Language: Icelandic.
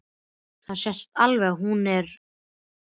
Það sést alveg að hún er í ballett.